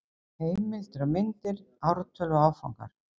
Heimildir og myndir: Ártöl og Áfangar.